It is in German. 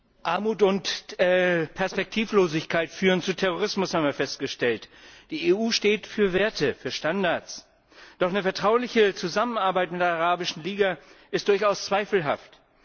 Frau Präsidentin! Armut und Perspektivlosigkeit führen zu Terrorismus, haben wir festgestellt. Die EU steht für Werte, für Standards. Doch eine vertrauliche Zusammenarbeit mit der Arabischen Liga ist durchaus zweifelhaft.